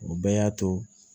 O bɛɛ y'a to